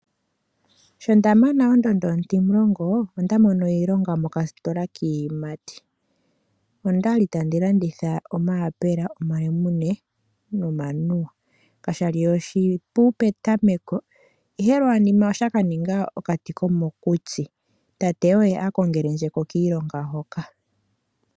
Sho ndamana ondondo ontimulongo, onda mono iilonga moka sitola kiiyimati. Ondali handi landitha omayapela, omalemune nomanuwa, kashali oshipu petameko ihe lwa nima oshaka ninga okati komokutsi. Tate oye akongelenjeko kiilonga hoka.